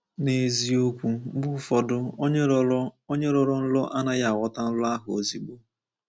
N’eziokwu, mgbe ụfọdụ onye rọrọ onye rọrọ nrọ anaghị aghọta nrọ ahụ ozugbo.